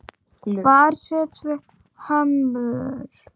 Hvar setjum við hömlur?